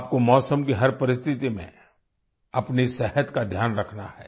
आपको मौसम की हर परिस्थिति में अपनी सेहत का ध्यान रखना है